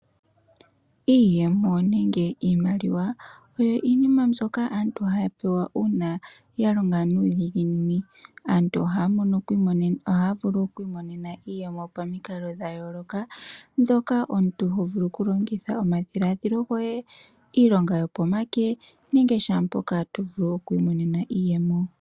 Iiyemo nenge iimaliwa oyo iinima mbyoka aantu haya pewa uuna aantu ya longa nuudhiginini. Aantu ohaa vulu okwiimonena iiyemo pamikalo dha yooloka dhoka omuntu ho vulu okulongitha omadhiladhilo goye, iilonga yopomake nenge shaampoka to vulu oku imonenamo iiyemo.